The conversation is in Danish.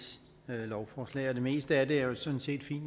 lovforslag og det meste af det er jo sådan set fint